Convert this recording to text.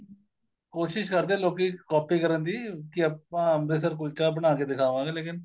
ਕੋਸਿਸ਼ ਕਰਦੇ ਏ ਲੋਕੀ copy ਕਰਨ ਦੀ ਕੀ ਆਪਾਂ ਅੰਮ੍ਰਿਤਸਰ ਕੁਲਚਾ ਬਣਾ ਕੇ ਦਿਖਾਵਾਂਗੇ ਲੇਕਿਨ